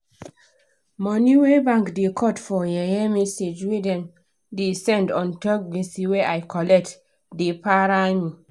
money wey bank da cut for yeye message wey dem da send untop gbese wey i collect da para me